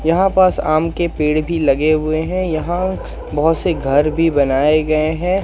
यहां पास आम के पेड़ भी लगे हुए हैं यहां बहुत से घर भी बनाए गए हैं।